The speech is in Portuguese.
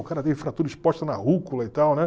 O cara teve fratura exposta na rúcula e tal, né?